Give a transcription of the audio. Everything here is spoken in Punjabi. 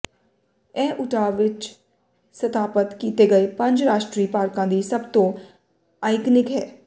ਇਹ ਉਟਾਹ ਵਿੱਚ ਸਥਾਪਤ ਕੀਤੇ ਗਏ ਪੰਜ ਰਾਸ਼ਟਰੀ ਪਾਰਕਾਂ ਦੀ ਸਭ ਤੋਂ ਆਈਕਨਿਕ ਹੈ